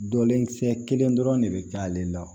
Dɔlen kisɛ kelen dɔrɔn de bɛ k'ale la